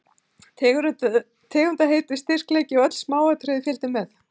Tegundarheiti, styrkleiki, öll smáatriði fylgdu með.